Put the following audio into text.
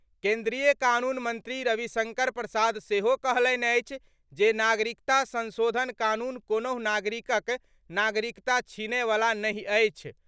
केन्द्रीय कानून मंत्री रविशंकर प्रसाद सेहो कहलनि अछि जे नागरिकता संशोधन कानून कोनहुँ नागरिकक नागरिकता छीनय वला नहि अछि।